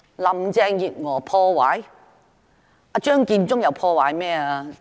林鄭月娥破壞了甚麼？